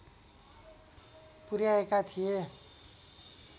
पुर्‍याएका थिए